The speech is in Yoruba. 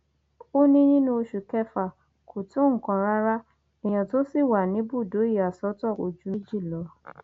ó ní nínú oṣù kẹfà kò tó nǹkan rárá èèyàn tó ṣì wà níbùdó ìyàsọtọ kò ju méjì lọ